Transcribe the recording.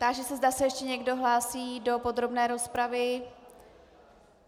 Táži se, zda se ještě někdo hlásí do podrobné rozpravy.